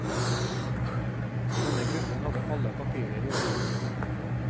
Denne gruppen hadde alle papirer i orden.